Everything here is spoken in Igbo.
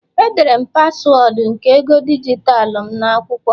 Edere m paswọọdụ nke ego dijitalụ m n'akwụkwọ